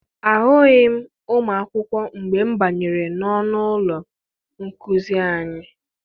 Ahụghị m ụmụ akwụkwọ mgbe m banyere n'ọnụ ụlọ nkuzi anyị.